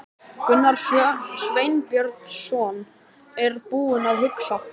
Gunnar Sveinbjörnsson er búinn að hugsa.